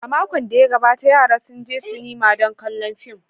A makon da ya gabata, yaran sun je sinima don kallon fim.